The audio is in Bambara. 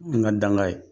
N ka danga ye